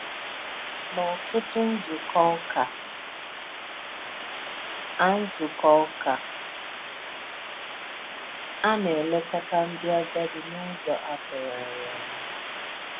N’ọ̀tụ̀tụ̀ nzúkọ ụ́kà, a nzúkọ ụ́kà, a na-èlèkọta ndí àgádì n’ụ́zọ atụ̀gharí ànyà.